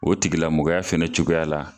O tigilamɔgɔya fɛnɛ cogoya la